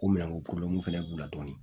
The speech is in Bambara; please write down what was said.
Ko minɛn ko fɛnɛ b'u la dɔɔnin